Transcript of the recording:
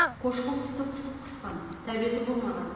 қошқыл түсті құсық құсқан тәбеті болмаған